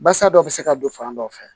Basa dɔ bɛ se ka don fan dɔ fɛ